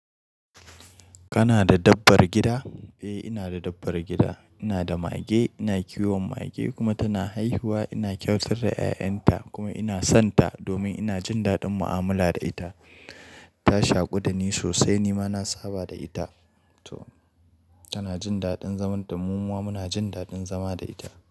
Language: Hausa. Kana da dabbar gida? Eh, ina da dabbar gida. Ina da mage, ina kiwon mage kuma tana haihuwa. Ina kyautar da ƴa'ƴanta kuma ina son ta domin ina jin daɗin mu'amala da ita. Ta shaku da ni sosai, ni ma na saba da ita to tana jin daɗin zaman da mu kuma muna jin daɗin zama da ita.